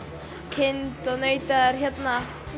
kind og naut eða